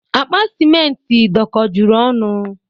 Akpa simentị dọkọjuru ọnụ.